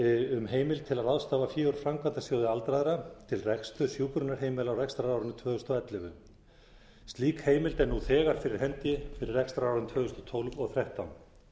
um heimild til að ráðstafa fé úr framkvæmdasjóði aldraðra til reksturs hjúkrunarheimila á rekstrarárinu tvö þúsund og ellefu slík heimild er nú þegar fyrir hendi fyrir rekstrarárin tvö þúsund og tólf og tvö þúsund og þrettán